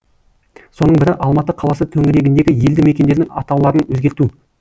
соның бірі алматы қаласы төңірегіндегі елді мекендердің атауларын өзгерту